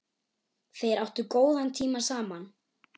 Þeir áttu góðan tíma saman.